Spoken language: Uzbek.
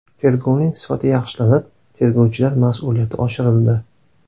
Tergovning sifati yaxshilanib, tergovchilar mas’uliyati oshirildi.